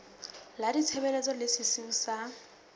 la ditshebeletso le sesiu sa